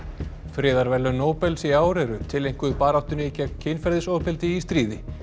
friðarverðlaun Nóbels í ár eru tileinkuð baráttunni gegn kynferðisofbeldi í stríði